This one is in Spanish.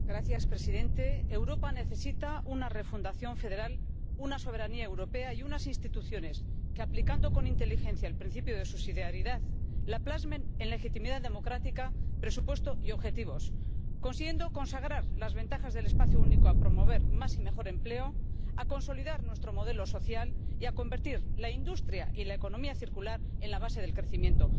Señor presidente, Europa necesita una refundación federal, una soberanía europea y unas instituciones que, aplicando con inteligencia el principio de subsidiariedad, la plasmen en legitimidad democrática, presupuesto y objetivos, consiguiendo consagrar las ventajas del espacio único a promover más y mejor empleo, a consolidar nuestro modelo social y a convertir la industria y la economía circular en la base del crecimiento.